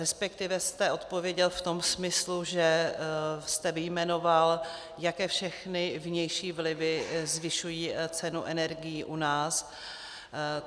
Respektive jste odpověděl v tom smyslu, že jste vyjmenoval, jaké všechny vnější vlivy zvyšují cenu energií u nás.